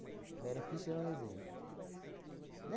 Vera Fischer é um exemplo, né?